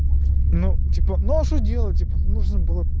ну типа ну а что делать типа нужно было